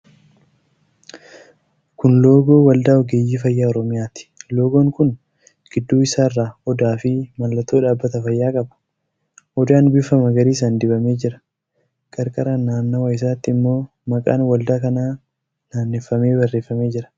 Kun loogoo Waldaa Ogeeyyii Fayyaa Oromiyaati. Loogoon kun giddu isaarraa odaa fi mallattoo dhaabbata fayyaa qaba. Odaan bifa magariisaan dibamee jira. Qarqara naannawa isaatti immoo maqaan waldaa kanaa naanneffamee barreeffamee jira.